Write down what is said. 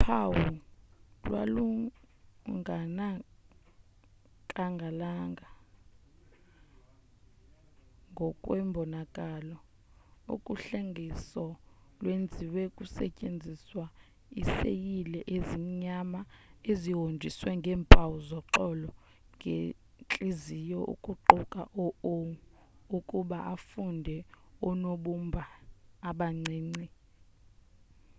uphawu lwalungonakalanga ngokwembonakalo uhlengahlengiso lwenziwe kusetyenziswa iiseyile ezimnyama ezihonjiswe ngeempawu zoxolo nentliziyo ukuguqula u o ukuba afunde oonobumba abancinci e